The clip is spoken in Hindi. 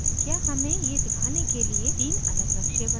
क्या हमें ये दिखाने के लिए तीन अलग नक़्शे बनाने की ज़रुरत है